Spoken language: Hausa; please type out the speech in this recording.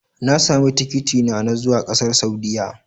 Na sami tikitina na zuwa ƙasar Saudiyya.